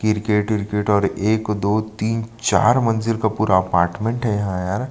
cricket विरकेट और एक दो तीन चार मंजिल का पूरा अपार्टमेंट है यहाँ यार --